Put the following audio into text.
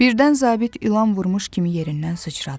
Birdən zabit ilan vurmuş kimi yerindən sıçradı.